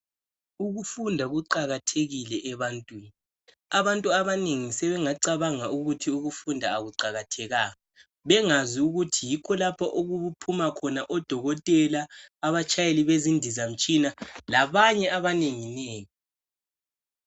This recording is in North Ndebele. Ukufunda kuqakathekile ebantwini abantu abanengi sebengacabanga ukuthi ukufunda akuqakathekanga bengazi ukuthi yikho lapha okuphuma khona odokotela abatshayeli bezindizamtshina labanye abanengi nengi